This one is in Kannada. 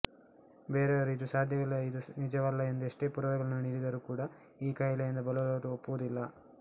ಬೇರೆಯವರು ಇದು ಸಾಧ್ಯವಿಲ್ಲ ಇದು ನಿಜವಲ್ಲ ಎಂದು ಎಷ್ಟೇ ಪುರಾವೆಗಳನ್ನು ನೀಡಿದರೂ ಕೂಡ ಈ ಕಾಯಿಲೆಯಿಂದ ಬಳಲುವವರು ಒಪ್ಪುವುದಿಲ್ಲ